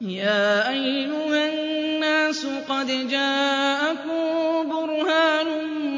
يَا أَيُّهَا النَّاسُ قَدْ جَاءَكُم بُرْهَانٌ